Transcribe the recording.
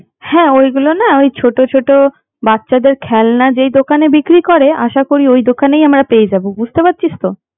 হ্যাঁ ওগুলো না ছোট ছোট বাচ্চাদের খেলনা যে দোকানে বিক্রি করে আশা করি ঐ দোকানেই আমরা পেয়ে যাবো বুঝতে পারছিস তো